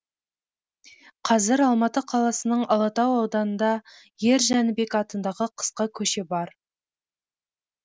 қазір алматы қаласының алатау ауданында ер жәнібек атындағы қысқа көше бар